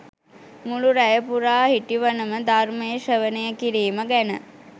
මුළු රැය පුරා හිටිවනම ධර්මය ශ්‍රවණය කිරීම ගැන